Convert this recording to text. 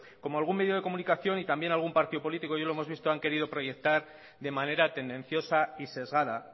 como algún medio de comunicación y también algún partido político ya lo hemos visto han querido proyectar de manera tendenciosa y sesgada